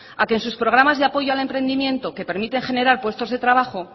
a que en sus programa de apoyo al emprendimiento que permiten generar puestos de trabajo